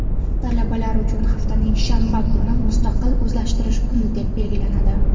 talabalar uchun haftaning shanba kuni mustaqil o‘zlashtirish kuni deb belgilanadi;.